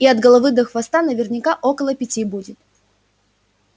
и от головы до хвоста наверняка около пяти будет